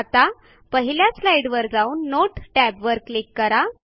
आता पहिल्या स्लाईडवर जाऊन नोट टॅबवर क्लिक करा